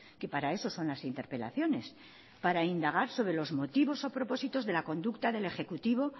que para eso son las interpelaciones para indagar sobre los motivos o propósitos de la conducta del ejecutivo